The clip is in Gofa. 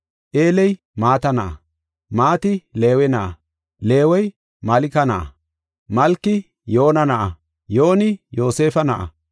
Eeley Mata na7a, Mati Leewe na7a, Leewey Malka na7a, Malki Yoona na7a, Yooni Yoosefa na7a,